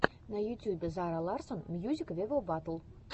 на ютюбе зара ларсон мьюзик вево батл